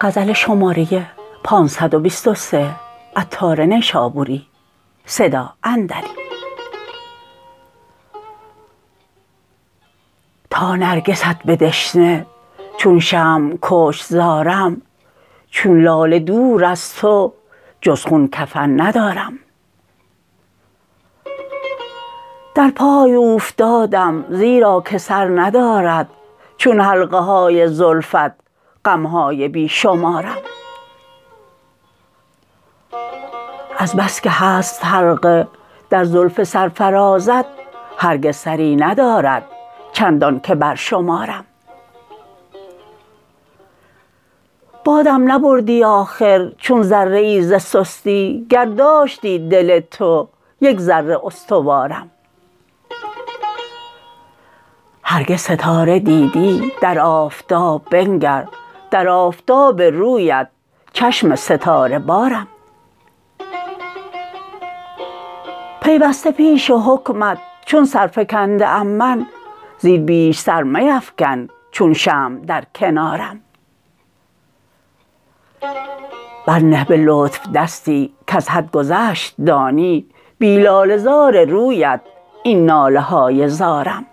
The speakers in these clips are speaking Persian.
تا نرگست به دشنه چون شمع کشت زارم چون لاله دور از تو جز خون کفن ندارم در پای اوفتادم زیرا که سر ندارد چون حلقه های زلفت غمهای بی شمارم از بسکه هست حلقه در زلف سرفرازت هرگز سری ندارد چندان که برشمارم بادم نبردی آخر چون ذره ای ز سستی گر داشتی دل تو یک ذره استوارم هرگز ستاره دیدی در آفتاب بنگر در آفتاب رویت چشم ستاره بارم پیوسته پیش حکمت چون سرفکنده ام من زین بیش سر میفکن چون شمع در کنارم بر نه به لطف دستی کز حد گذشت دانی بی لاله زار رویت این ناله های زارم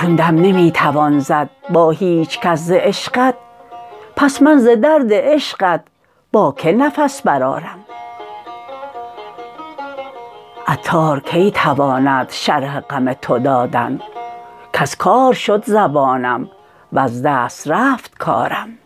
چون دم نمی توان زد با هیچکس ز عشقت پس من ز درد عشقت با که نفس برآرم عطار کی تواند شرح غم تو دادن کز کار شد زبانم وز دست رفت کارم